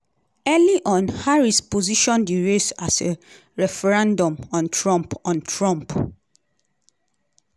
early on harris position di race as a referendum on trump. on trump.